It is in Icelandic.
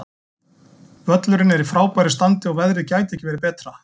Völlurinn er í frábæru standi og veðrið gæti ekki verið betra.